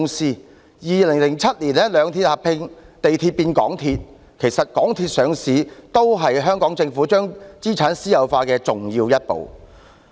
在2007年，兩鐵合併，地鐵變港鐵，其實港鐵公司上市也是香港政府將資產私有化的重要一步。